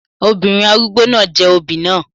Obìnrin arúgbó náà jẹ òbí náà.